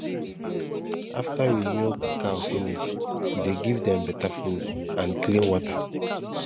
after we milk cow finish we dey give dem better food and clean water